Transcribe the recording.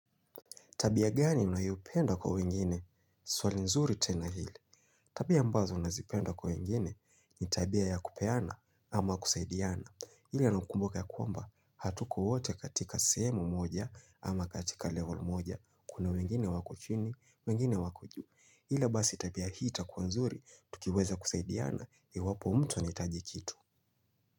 Tabia gani unayopenda kwa wengine? Swali nzuri tena hili. Tabia ambazo nazipenda kwa wengine ni tabia ya kupeana ama kusaidiana. Ila nakumbaka ya kwamba hatuko wote katika sehemu moja ama katika level moja. Kuna wengine wako chini, wengine wako juu. Ila basi tabia hii itakuwa nzuri, tukiweza kusaidiana iwapo mtu anahitaji kitu.